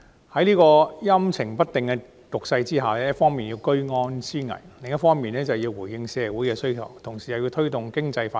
在這個陰晴不定的局勢下，財政司司長既要居安思危，也要回應社會的需要，同時又要推動經濟發展。